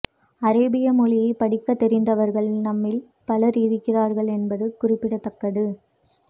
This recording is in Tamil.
அரேபிய மொழியை படிக்க தெரிந்தவர்கள் நம்மில் பலர் இருக்கிறார்கள் என்பது குறிப்பிடத்தக்கது